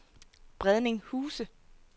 Bredning Huse